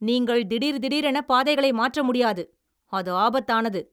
நீங்கள் திடீர் திடீரென பாதைகளை மாற்ற முடியாது, அது ஆபத்தானது!